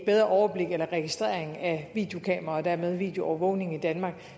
bedre overblik eller registrering af videokameraer og dermed videoovervågning i danmark